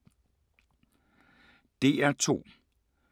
DR2